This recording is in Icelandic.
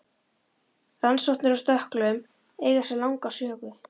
Rannsóknir á stökklum eiga sér langa sögu.